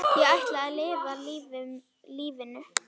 Ég ætla að lifa lífinu.